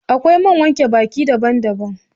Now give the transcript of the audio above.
Akwai man wanke baki daban daban